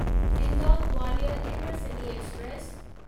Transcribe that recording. Indore Gwalior intercity express